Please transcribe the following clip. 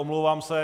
Omlouvám se.